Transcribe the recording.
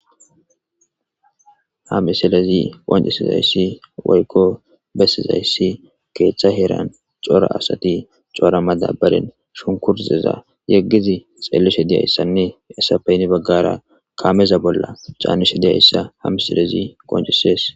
Ha misilazi qonccisizayssi woykko bessizayssi keethta heeran cora asati cora maddabbaran shunkurteza yeggidi xeellishe dizayssanne hessappe heni baggara kaameza bolla caanishe dizayssa ha misilezi qonccisees.